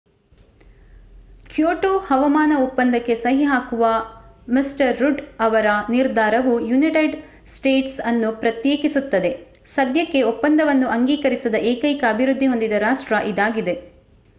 Kyoto ಹವಾಮಾನ ಒಪ್ಪಂದಕ್ಕೆ ಸಹಿ ಹಾಕುವ ಮಿ ರುಡ್ ಅವರ ನಿರ್ಧಾರವು ಯುನೈಟೆಡ್ ಸ್ಟೇಟ್ಸ್ ಅನ್ನು ಪ್ರತ್ಯೇಕಿಸುತ್ತದೆ ಸದ್ಯಕ್ಕೆ ಒಪ್ಪಂದವನ್ನು ಅಂಗೀಕರಿಸದ ಏಕೈಕ ಅಭಿವೃದ್ಧಿ ಹೊಂದಿದ ರಾಷ್ಟ್ರ ಇದಾಗಿದೆ